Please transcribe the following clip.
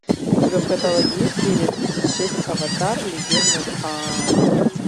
у тебя в каталоге есть серия тридцать шесть аватар легенда об аанге